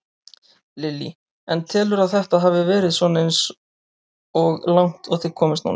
Lillý: En telurðu að þetta hafi svona verið eins og langt og þið komist núna?